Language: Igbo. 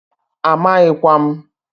Amaghikwa m.